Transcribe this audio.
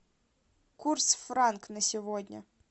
курс франк на сегодня